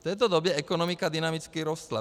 V této době ekonomika dynamicky rostla.